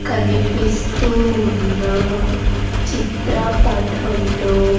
కనిపిస్తూ ఉన్న చిత్రపటంలో.